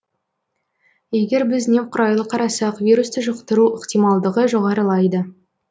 егер біз немқұрайлы қарасақ вирусты жұқтыру ықтималдығы жоғарылайды